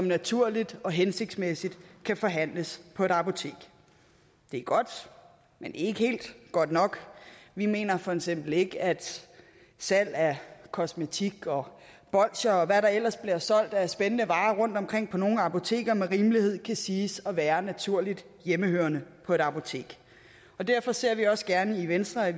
naturligt og hensigtsmæssigt kan forhandles på et apotek det er godt men ikke helt godt nok vi mener for eksempel ikke at salg af kosmetik og bolsjer og hvad der ellers bliver solgt af spændende varer rundtomkring på nogle af apotekerne med rimelighed kan siges at være naturligt hjemmehørende på et apotek derfor ser vi også gerne i venstre at